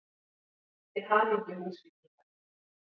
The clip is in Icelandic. Til hamingju Húsvíkingar!!